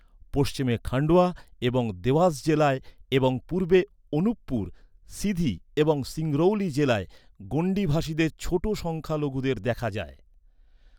পশ্চিমে খান্ডোয়া এবং দেওয়াস জেলায় এবং পূর্বে অনুপপুর, সিধি এবং সিংরৌলি জেলায় গোন্ডি ভাষীদের ছোট সংখ্যালঘুদের দেখা যায়।